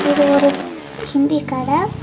இது ஒரு ஹிந்தி கடை.